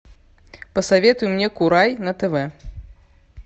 посоветуй мне курай на тв